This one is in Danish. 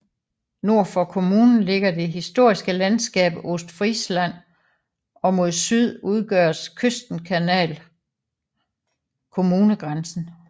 Nord for kommunen ligger det historiske landskab Ostfriesland og mod syd udgør Küstenkanal kommungrænsen